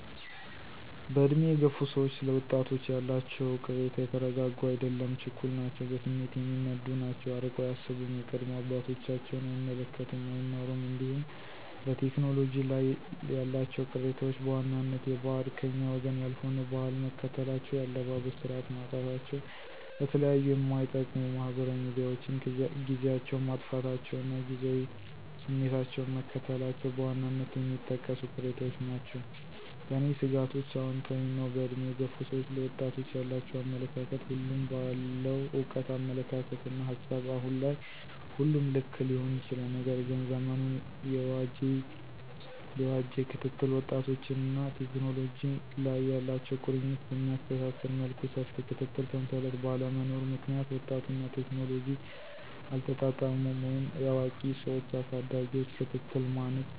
በዕድሜ የገፉ ሰዎች ስለ ወጣቶች ያላቸው ቅሬታ የተረጋጉ አይደሉም ችኩል ናቸው በስሜት የሚነዱ ናቸው አርቀው አያስቡም የቀደሙ አባቶቻቸውን አይመለከቱም አይማሩም እንዲሁም በቴክኖሎጂ ላይ ያላቸው ቅሬታዎች በዋናነት የበዓድ /ከኛ ወገን ያልሆነ/ ባህል መከተላቸው የአለባበስ ስርዓት ማጣታቸው ለተለያዩ ማይጠቅሙ ማህበራዊ ሚዲያዎችን ጊዚያቸውን ማጥፋታቸው እና ጊዚያዊ ስሜታቸውን መከተላቸው በዋናነት የሚጠቀሱ ቅሬታዎች ናቸው። ለኔ ስጋቶችአውንታዊ ነው በእድሜ የገፉ ሰዎች ለወጣቶች ያላቸው አመለካከት ሁሉም በአለው እውቀት አመለካከትና ሀሳብ አሁን ላይ ሁሉም ልክ ሊሆን ይችላል። ነገር ግን ዘመኑን የዋጄ ክትትል ወጣቶችንና ቴክኖሎጂ ላይ ያላቸው ቁርኝት በሚያስተሳስር መልኩ ሰፊ የክትትል ሰንሰለት ባለመኖሩ ምክንያት ወጣቱና ቴክኖሎጂ አልተጣጣሙም ወይም የአዋቂ ሰዎች አሳዳጊዎች ክትትል ማነስ